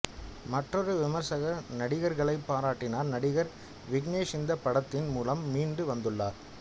மற்றொரு விமர்சகர் நடிகர்களைப் பாராட்டினார் நடிகர் விக்னேஷ் இந்த படத்தின் மூலம் மீண்டு வந்துள்ளார்